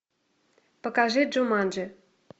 покажи джуманджи